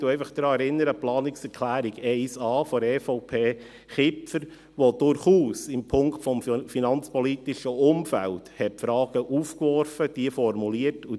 Ich erinnere einfach an die Planungserklärung 1a, EVP/Kipfer, welche im Punkt des finanzpolitischen Umfelds durchaus Fragen aufwarf und formulierte.